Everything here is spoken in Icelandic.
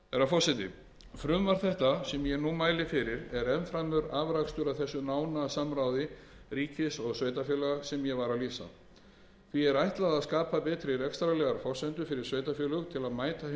forseti frumvarp það sem ég nú mæli fyrir er enn fremur afrakstur af því nána samráði ríkis og sveitarfélaga sem ég var að lýsa því er ætlað að skapa betri rekstrarlegar forsendur fyrir sveitarfélög til að mæta